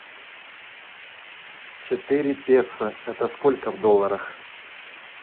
четыре песо это сколько в долларах